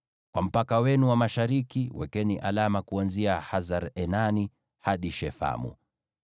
“ ‘Kwa mpaka wenu wa mashariki, wekeni alama kuanzia Hasar-Enani hadi Shefamu.